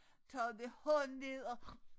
Taget hånden ned og